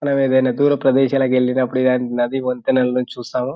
మనము ఎది ఐనా దూర ప్రదేశాలకు వెళ్లినపుడుకానీ నది వంతేలను చూస్తాము.